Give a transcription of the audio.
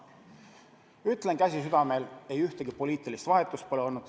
Ütlen, käsi südamel, et ühtegi poliitilist vahetust pole olnud.